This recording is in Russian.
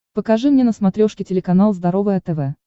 покажи мне на смотрешке телеканал здоровое тв